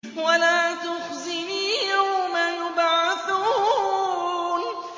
وَلَا تُخْزِنِي يَوْمَ يُبْعَثُونَ